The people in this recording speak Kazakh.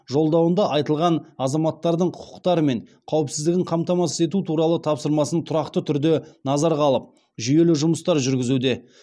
жолдауында айтылған азаматтардың құқықтары мен қауіпсіздігін қамтамасыз ету туралы тапсырмасын тұрақты түрде назарға алып жүйелі жұмыстар жүргізуде